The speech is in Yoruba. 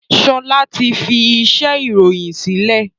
Sọlá ti fi iṣẹ́ ìròyìn sílẹ̀